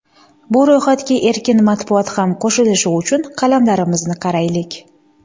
Bu ro‘yxatga erkin matbuot ham qo‘shilishi uchun qalamlarimizni qayraylik.